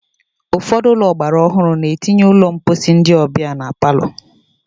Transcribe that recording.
Ụfọdụ ụlọ ọgbara ọhụrụ na-etinye ụlọ mposi ndị ọbịa na palọ.